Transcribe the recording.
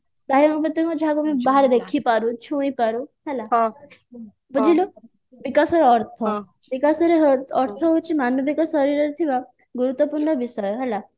ବାହ୍ୟ ଅଙ୍ଗ ପ୍ରତ୍ୟଙ୍ଗ ଯାହାକୁ ଆମେ ଦେଖି ପାରୁ ଛୁଇଁ ପାରୁ ହେଲା ବୁଝି ପାରିଲୁ ବିକାଶର ଅର୍ଥ ବିକାଶର ଅର୍ଥ ହଉଛି ମାନବିକ ଶରୀରରେ ଥିବା ଗୁରୁତ୍ୟପୂର୍ଣ୍ଣ ବିଷୟ ହେଲା